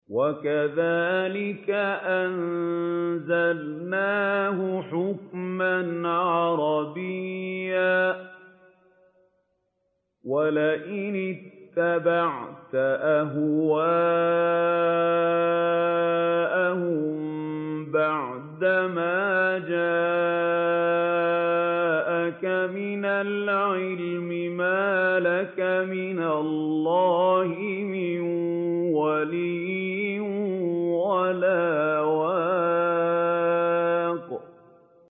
وَكَذَٰلِكَ أَنزَلْنَاهُ حُكْمًا عَرَبِيًّا ۚ وَلَئِنِ اتَّبَعْتَ أَهْوَاءَهُم بَعْدَمَا جَاءَكَ مِنَ الْعِلْمِ مَا لَكَ مِنَ اللَّهِ مِن وَلِيٍّ وَلَا وَاقٍ